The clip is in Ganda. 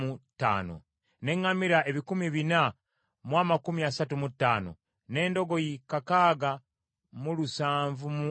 n’eŋŋamira ebikumi bina mu amakumi asatu mu ttaano (435), n’endogoyi kakaaga mu lusanvu mu abiri (6,720).